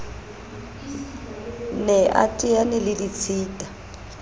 ne a teane le ditshita